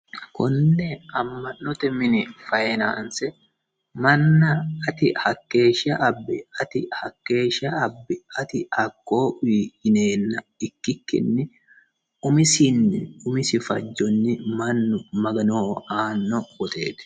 konne amma'note mini fayinaanse manna ati hakkeeshsha abbi ati hakkeeshsha abbi ati hakkoye uyii yineenna ikkikkinni umisinni umisi fajjonni mannu maganoho aanno woteeti